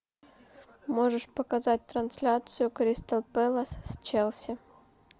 можешь показать трансляцию кристал пэлас с челси